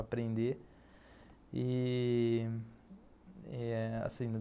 aprender. E... Eh...